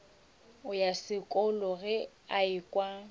ya sekolo ge a ekwa